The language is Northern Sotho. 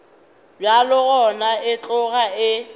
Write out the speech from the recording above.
bjalo gona e tloga e